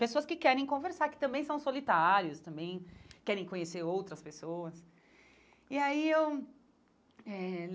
pessoas que querem conversar, que também são solitários, também querem conhecer outras pessoas e aí eu eh.